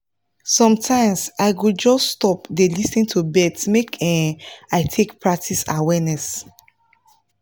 sometimes i go just stop dey lis ten to birds make um i take practice awareness